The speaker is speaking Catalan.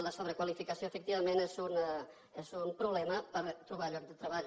la sobrequalificació efectivament és un problema per trobar lloc de treball